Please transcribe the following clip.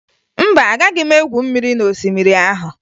Mba, agaghị m egwu mmiri n'osimiri ahụ